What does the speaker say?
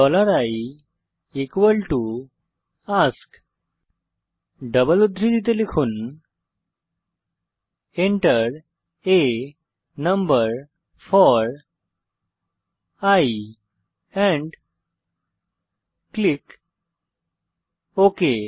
i ask double উদ্ধৃতিতে enter a number four i and click okay